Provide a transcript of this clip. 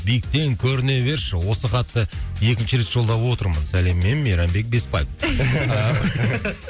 биіктен көріне берші осы хатты екінші рет жолдап отырмын сәлеммен мейрамбек беспаев